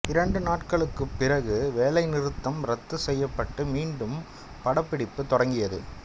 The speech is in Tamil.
இரண்டு நாட்களுக்குப் பிறகு வேலைநிறுத்தம் ரத்து செய்யப்பட்டு மீண்டும் படப்பிடிப்பு தொடங்கியது